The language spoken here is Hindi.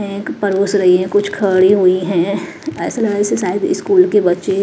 एक परोस रही है कुछ खड़ी हुई हैं ऐसा लग रहा से शायद स्कूल के बच्चे--